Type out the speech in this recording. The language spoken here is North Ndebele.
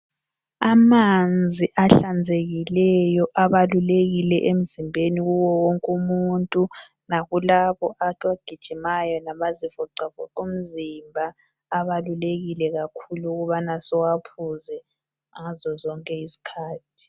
Amanzi ahlanzekileyo abalulekile emzimbeni kuwo wonke umuntu lakulabo abagijimayo labazi voxavoxa umzimba abalulekile kakhulu ukuthi siwaphuze ngazozonke izikhathi.